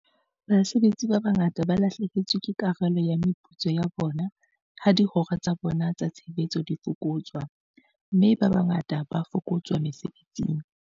Basebetsi ba bangata ba lahlehetswe ke karolo ya meputso ya bona ha dihora tsa bona tsa tshebetso di fokotswa, mme ba bangata ba fokotswa mesebetsing.